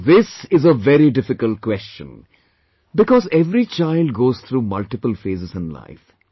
Now this is a very difficult question because every child goes through multiple phases in life